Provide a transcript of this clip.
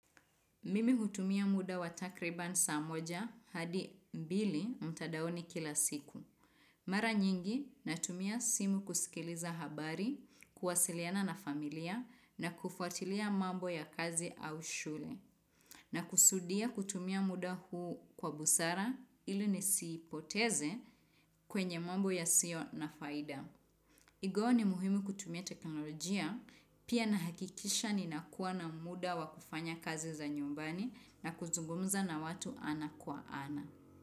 Mimi hutumia muda watakriban saa moja hadi mbili mtadaoni kila siku. Mara nyingi na tumia simu kusikiliza habari, kuwasiliana na familia na kufuatilia mambo ya kazi au shule. Na kusudia kutumia muda huu kwa busara ilu nisiipoteze kwenye mambo ya sio na faida. Igo ni muhimu kutumia teknolojia, pia na hakikisha ni nakuwa na muda wa kufanya kazi za nyumbani na kuzungumza na watu ana kwa ana.